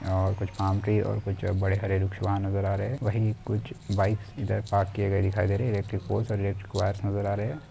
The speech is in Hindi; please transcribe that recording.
और कुछ पाम ट्री और कुछ बड़े हरे वृक्ष वहाँ नज़र आ रहे है वही कुछ बाइक्स इधर पार्क किये गए दिखाई दे रहे है एलेक्ट्रिकपोलस और एलेक्ट्रिक वायर्स नज़र आ रहे है।